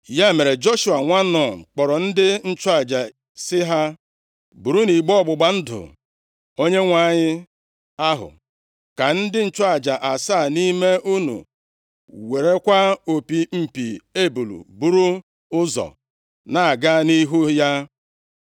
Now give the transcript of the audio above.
Ya mere, Joshua nwa Nun kpọrọ ndị nchụaja sị ha, “Burunu igbe ọgbụgba ndụ Onyenwe anyị ahụ, ka ndị nchụaja asaa nʼime unu werekwa opi mpi ebule buru ụzọ na-aga nʼihu ya.”